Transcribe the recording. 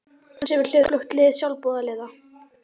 Hafði hann sér við hlið öflugt lið sjálfboðaliða.